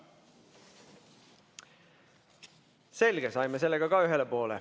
Selge, saime sellega ühele poole.